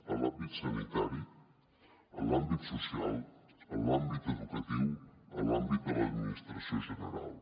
en l’àmbit sanitari en l’àmbit social en l’àmbit educatiu en l’àmbit de l’administració general